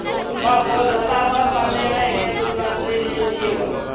magoza lama faneleke ku landzeleriwa